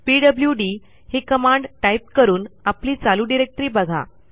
PWD ही command type करून आपली चालू डिरेक्टरी बघा